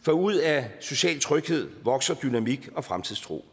for ud af social tryghed vokser dynamik og fremtidstro